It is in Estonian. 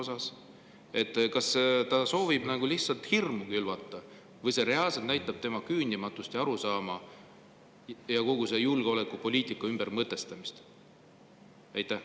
Kas ta lihtsalt soovib hirmu külvata või see reaalselt näitab tema küündimatust ja arusaama ja kogu selle julgeolekupoliitika ümbermõtestamist?